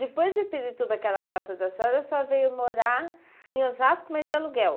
Depois de Pirituba, aquela casa da senhora a senhora veio morar em Osasco, mas de aluguel.